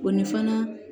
O ni fana